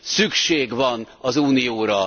Szükség van az Unióra.